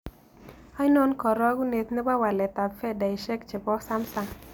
Ainon karagunet ne po waletap fedaisiek chebo samsung